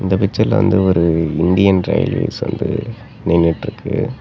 இந்த பிச்சர்ல வந்து ஒரு இந்தியன் ரயில்வேஸ் வந்து நின்னுட்டுருக்கு.